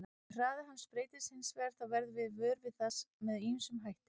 Ef hraði hans breytist hins vegar þá verðum við vör við það með ýmsum hætti.